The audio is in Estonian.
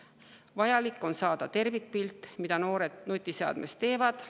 Vaja on saada tervikpilt selle kohta, mida noored nutiseadmes teevad.